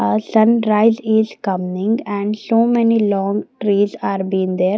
aah sunrise is coming and so many long trees are been there.